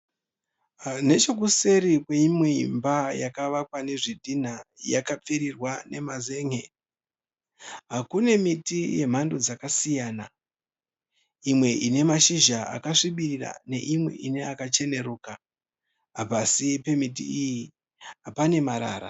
Nechekuseri kweimwe imba yakavakwa nezvidhinha yakapfirirwa nemazenge. Kune miti yemhando dzakasiyana. Imwe ine mashizha akasvibirira neimwe ine mashizha akacheneruka. Pasi pemiti iyi pane marara.